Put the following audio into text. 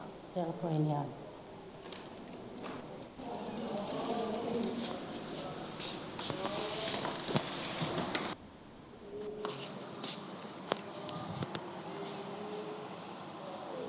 ਚਲ ਕੋਈ ਨੀ ਆ